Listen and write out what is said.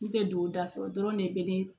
N tɛ don da fɛ o dɔrɔn de bɛ ne